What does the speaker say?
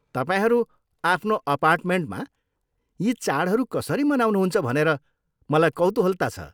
तपाईँहरू आफ्नो अपार्टमेन्टमा यी चाडहरू कसरी मनाउनुहुन्छ भनेर मलाई कौतुहलता छ।